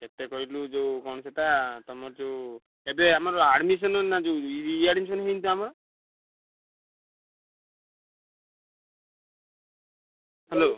କେତେ କହିଲୁ ଯୋଉ କଣ ସେଇଟା ତମର ଯୋଉ ଏବେ ଆମର admission ନା ଯୋଉ ରି re-admission ହେଇନି ତ ଆମର। hello ।